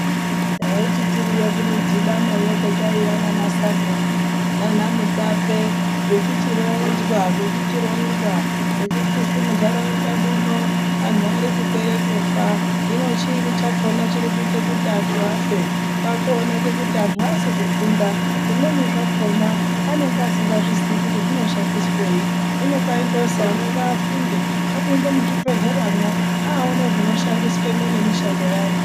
Taiti tiriyo kumidhibana yo kwataiya naaana sabhuku naana mutape zvechichi ronzwa zvechichi zwi muntaraunda muno ari kupera kufa zvino chiini chakona chiri kuite kuti antu afe kwaakuoneka kuti antu aasi ku funda zvimweni zvakona anenge asingazviziyi kuti zvinoshandiswa sei hino kwaindozi ana ngaafunde apinde muzvi bhedhlera mwo aoone zvinoshandiswa nemi shando yazvo.